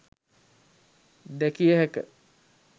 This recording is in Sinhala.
දැකිය හැක.